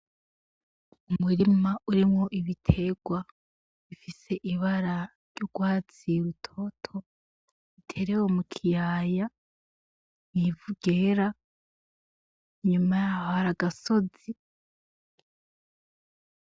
Umurima urimwo ibiterwa bifise ibara ry'urwatsi rutoto biterewe mukiyaya mw'ivu ryera, inyuma yaho hari agasozi.